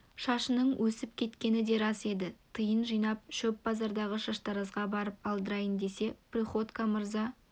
шашының өсіп кеткені де рас еді тиын жинап шөп базардағы шаштаразға барып алдырайын десе приходько мырза